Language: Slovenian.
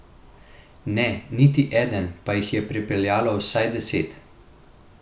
Ne, niti eden, pa jih je pripeljalo vsaj deset.